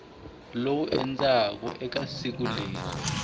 wolow endzhaku ka siku leri